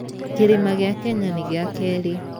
Kĩrĩma gĩa Kenya nĩ gĩa keerĩ.